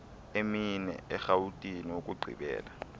emine erhawutini ukugqibela